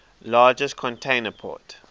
largest container port